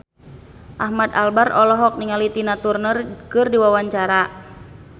Ahmad Albar olohok ningali Tina Turner keur diwawancara